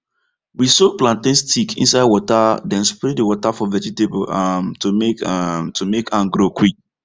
we soak plantain stick inside water then spray the water for vegetable um to make um to make am grow quick